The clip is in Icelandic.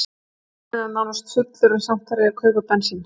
Tankurinn er nánast fullur en samt þarf ég að kaupa bensín.